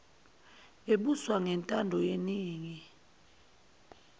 ebuswa ngentando yeningi